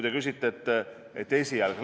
Te ütlesite, et esialgne.